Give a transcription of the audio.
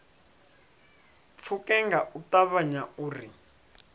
pfuke nga u ṱavhanya uri